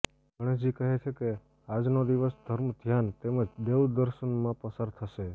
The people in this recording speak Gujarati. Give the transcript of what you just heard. ગણેશજી કહે છે કે આજનો દિવસ ધર્મ ધ્યાન તેમજ દેવદર્શનમાં પસાર થશે